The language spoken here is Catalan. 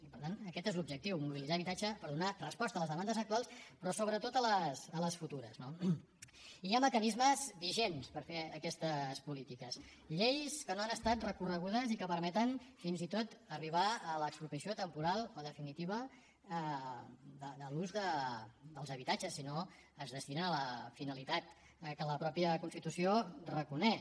i per tant aquest és l’objectiu mobilitzar habitatge per donar resposta a les demandes actuals però sobretot a les futures no i hi ha mecanismes vigents per fer aquestes polítiques lleis que no han estat recorregudes i que permeten fins i tot arribar a l’expropiació temporal o definitiva de l’ús dels habitatges si no es dediquen a la finalitat que la mateixa constitució reconeix